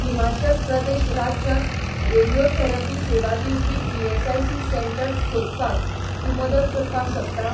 हिमाचल प्रदेश राज्यांत रेडियोथेरपी सेवा दिवपी ईएसआयसी सेटंर्स सोदपाक तूं मदत करपाक शकता?